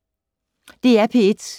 DR P1